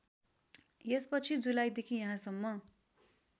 यसपछि जुलाईदेखि यहाँसम्म